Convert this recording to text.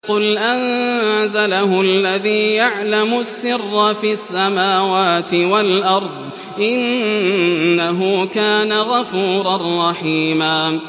قُلْ أَنزَلَهُ الَّذِي يَعْلَمُ السِّرَّ فِي السَّمَاوَاتِ وَالْأَرْضِ ۚ إِنَّهُ كَانَ غَفُورًا رَّحِيمًا